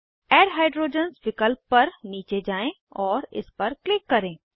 add hydrogens विकल्प तक नीचे जाएँ और इस पर क्लिक करें